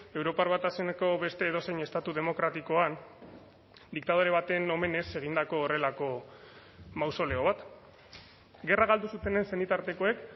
europar batasuneko beste edozein estatu demokratikoan diktadore baten omenez egindako horrelako mausoleo bat gerra galdu zutenen senitartekoek